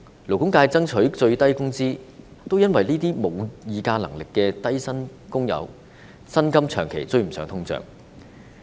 勞工界爭取訂立最低工資，正是因為這些沒有議價能力的低薪工友的薪金，長期無法追上通脹。